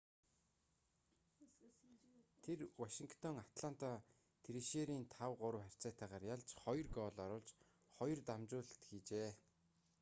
тэр вашингтон атланта трэшерерийг 5-3 харьцаатайгаар ялж 2 гоол оруулж 2 дамжуулалт хийжээ